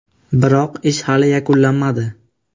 Biroq ish hali yakunlanmadi.